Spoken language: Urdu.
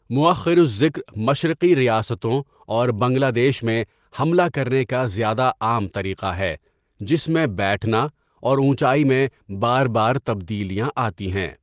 مؤخر الذکر مشرقی ریاستوں اور بنگلہ دیش میں حملہ کرنے کا زیادہ عام طریقہ ہے، جس میں بیٹھنا اور اونچائی میں بار بار تبدیلیاں آتی ہیں۔